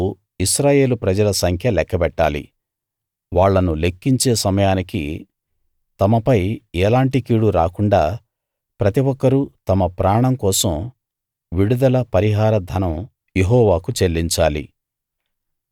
నువ్వు ఇశ్రాయేలు ప్రజల సంఖ్య లెక్కబెట్టాలి వాళ్ళను లెక్కించే సమయానికి తమపై ఎలాంటి కీడు రాకుండా ప్రతి ఒక్కరూ తమ ప్రాణం కోసం విడుదల పరిహార ధనం యెహోవాకు చెల్లించాలి